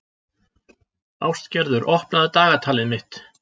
Ástgerður, opnaðu dagatalið mitt.